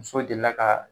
Muso delila ka